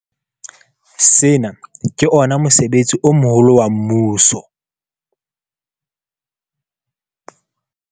Sena ke ona mosebetsi o moholo wa mmuso.